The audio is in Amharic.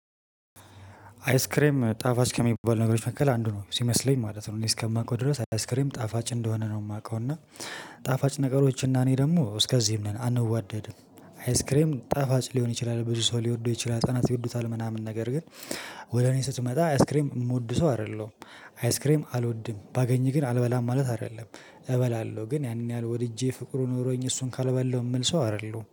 አያስክሬም ጣፋጭ ከሚባል ነገሮች መካከል አንዱ ነው ሲመስለኝ ማለት ነው። እኔ እስከማውቀው ድረስ አይስክሬም ጣፋጭ እንደሆነ ነው የማቀው እና። ጣፋጭ ነገሮች እና እኔ ደግሞ እስከዚህም ነን አንዋደድም። አያስክሬም ጣፋጭ ሊሆን ይችላል ብዙ ሰው ሊወደው ይችላል ሀጸናት ይወዱታል ምናምን ነገር ግን። ወደ እኔ ስትመጣ አያስክሬም የምወድ ሰው አይደለሁም። አያስክሬም አልወድም ባገኝ ግን አልበላም ማለት አይደለም። እበላለሁ ግን ያን ያህል ወድጄ ፍቅሩ ኖሮኝ እሱን ካልበላሁ የምል ሰው አይደለሁም